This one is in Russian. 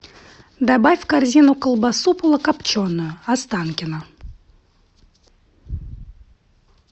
добавь в корзину колбасу полукопченую останкино